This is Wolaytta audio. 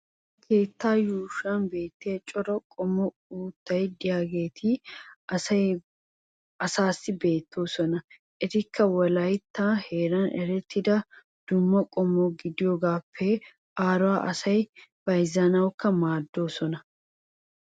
ha keettaa yuushshuwan beetiya cora qommo uttati diyaageeti asaassi beetoosona. etikka wolaytta heeran erettida qumaa qommo gidiyoogaappe aaruwa asay bayzzanawukka maadoosona.